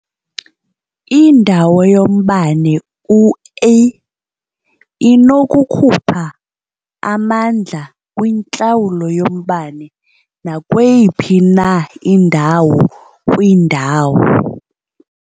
Indawo yombane u-E inokukhupha amandla kwintlawulo yombane nakweyiphi na indawo kwindawo.